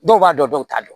Dɔw b'a dɔn dɔw t'a dɔn